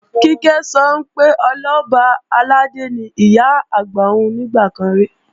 Kíkẹ́ sọ pé Ọlọ́ba àlàdé ni Ìyá-àgbà òun nígbà kan rí